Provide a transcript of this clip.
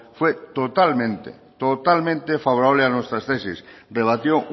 fue totalmente totalmente favorable a nuestras tesis rebatió